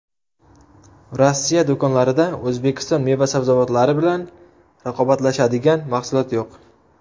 Rossiya do‘konlarida O‘zbekiston meva-sabzavotlari bilan raqobatlashadigan mahsulot yo‘q.